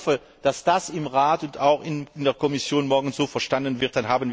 muss. Ich hoffe, dass das im Rat und auch in der Kommission morgen so verstanden